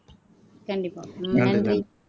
கண்டிப்பா நன்றி நன்றி